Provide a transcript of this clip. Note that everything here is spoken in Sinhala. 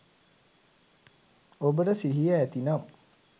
ඔබට සිහිය ඇතිනම්